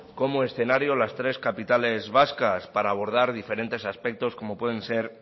como escenario las tres capitales vascas para abordar diferentes aspectos como pueden ser